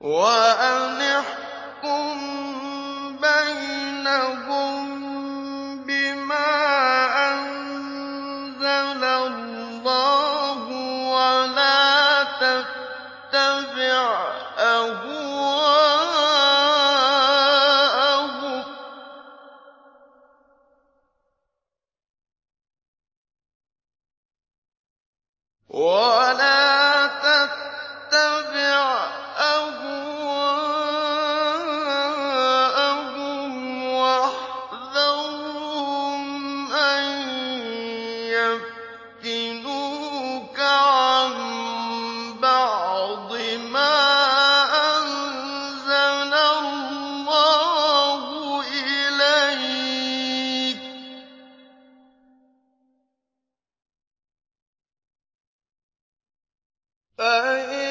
وَأَنِ احْكُم بَيْنَهُم بِمَا أَنزَلَ اللَّهُ وَلَا تَتَّبِعْ أَهْوَاءَهُمْ وَاحْذَرْهُمْ أَن يَفْتِنُوكَ عَن بَعْضِ مَا أَنزَلَ اللَّهُ إِلَيْكَ ۖ فَإِن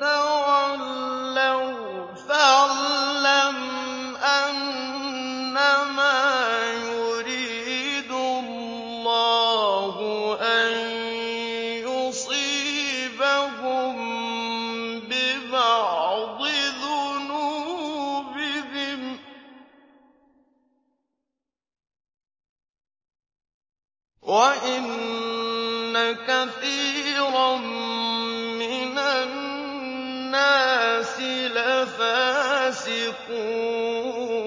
تَوَلَّوْا فَاعْلَمْ أَنَّمَا يُرِيدُ اللَّهُ أَن يُصِيبَهُم بِبَعْضِ ذُنُوبِهِمْ ۗ وَإِنَّ كَثِيرًا مِّنَ النَّاسِ لَفَاسِقُونَ